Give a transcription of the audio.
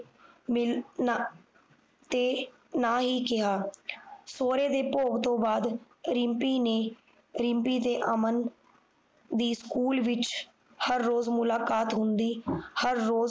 ਮਿਲ ਨਾ ਤੇ ਨਾ ਹੀ ਕਿਹਾ ਸੋਹਰੇ ਦੀ ਭੋਗ ਤੋਂ ਬਾਦ ਰਿਮਪੀ ਨੇ ਰਿਮਪੀ ਤੇ ਅਮਨ ਵੀ ਸਕੂਲ ਵਿਚ ਹਰ ਰੋਜ ਮੁਲਾਕਾਤ ਹੁੰਦੀ ਹਰ ਰੋਜ